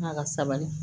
Ala ka sabali